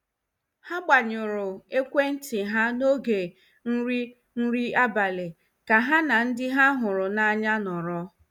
Ha gbanyụrụ ekwentị ha n'oge nri nri abalị ka ha na ndị ha hụrụ n'anya nọrọ.